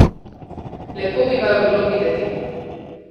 Lepo bi vaju bilo videti.